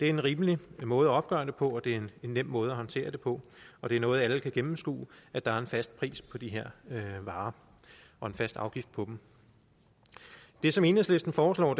en rimelig måde at opgøre det på og det er en nem måde at håndtere det på og det er noget alle kan gennemskue når der er en fast pris på de her varer og en fast afgift på dem det som enhedslisten foreslår